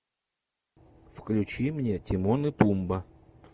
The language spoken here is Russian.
включи мне тимон и пумба